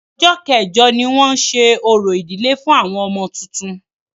Ọjọ́ kẹ́jọ ní wọn ṣe orò ìdílé fún ọmọ tuntun.